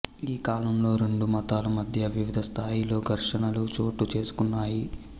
ఈ కాలంలో రెండు మతాల మధ్యా వివిధ స్థాయిలలో ఘర్షణలు చోటు చేసుకొన్నాయి